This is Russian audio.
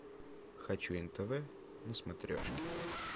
хочу нтв на смотрешке